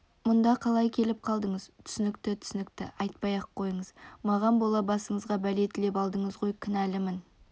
мұнда қалай келіп қалдыңыз түсінікті түсінікті айтпай-ақ қойыңыз маған бола басыңызға бәле тілеп алдыңыз ғой кінәлімін